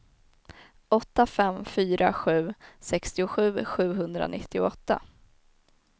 åtta fem fyra sju sextiosju sjuhundranittioåtta